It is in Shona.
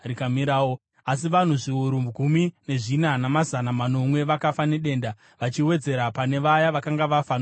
Asi vanhu zviuru gumi nezvina namazana manomwe vakafa nedenda, vachiwedzera pane vaya vakanga vafa nokuda kwaKora.